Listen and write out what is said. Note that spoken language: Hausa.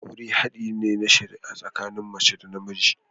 Aure hadi ne na shari'a tsakanin mace da namiji.